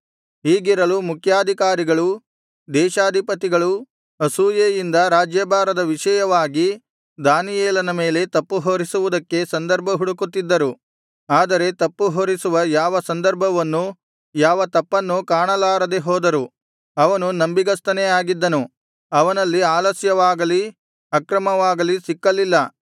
ಹೀಗಿರಲು ಮುಖ್ಯಾಧಿಕಾರಿಗಳೂ ದೇಶಾಧಿಪತಿಗಳೂ ಅಸೂಯೆಯಿಂದ ರಾಜ್ಯಭಾರದ ವಿಷಯವಾಗಿ ದಾನಿಯೇಲನ ಮೇಲೆ ತಪ್ಪುಹೊರಿಸುವುದಕ್ಕೆ ಸಂದರ್ಭ ಹುಡುಕುತ್ತಿದ್ದರು ಆದರೆ ತಪ್ಪುಹೊರಿಸುವ ಯಾವ ಸಂದರ್ಭವನ್ನೂ ಯಾವ ತಪ್ಪನ್ನೂ ಕಾಣಲಾರದೆ ಹೋದರು ಅವನು ನಂಬಿಗಸ್ತನೇ ಆಗಿದ್ದನು ಅವನಲ್ಲಿ ಆಲಸ್ಯವಾಗಲಿ ಅಕ್ರಮವಾಗಲಿ ಸಿಕ್ಕಲಿಲ್ಲ